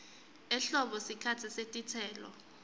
ehlobo sikhatsi setitselo